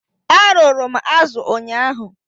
Arụrụ m azu ụnyaahụ.